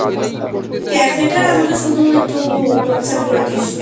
Cafe টার আমাকে শুধু একটু whatsapp করে দিস।